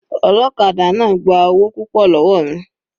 Ọlọ́kadà náà gba owó púpọ̀ lọ́wọ́ mi.